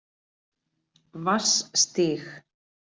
Vatnsstíg